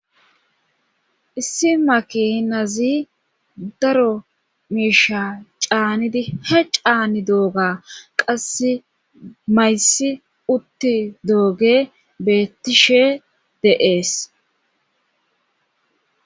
Issi makinazi daro miisha caanidi ha caanidooga qasse mayssi uttidooge beettishe dees.